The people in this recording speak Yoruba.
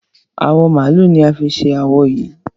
Awọ màálù ni a fi ṣe awo yìí.